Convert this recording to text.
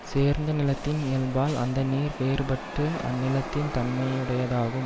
சேர்ந்த நிலத்தின் இயல்பால் அந்த நீர் வேறுபட்டு அந் நிலத்தின் தன்மையுடையதாகும்